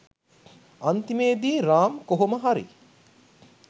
අන්තිමේදී රාම් කොහොම හරි